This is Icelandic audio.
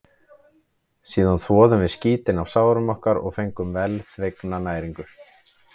Síðan þvoðum við skítinn af sárum okkar og fengum velþegna næringu.